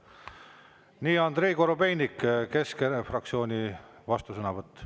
Nii, Andrei Korobeinik, Keskerakonna fraktsiooni vastusõnavõtt.